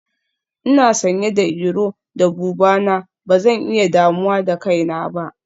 Ina sanye da iro da buba na, ba zan iya damuwa da kaina ba.